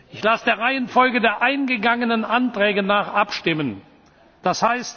Ich lasse der Reihenfolge der eingegangenen Anträge nach abstimmen, d.